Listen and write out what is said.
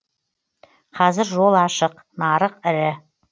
қазір жол ашық нарық ірі